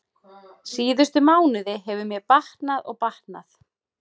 Síðustu mánuði hefur mér batnað og batnað.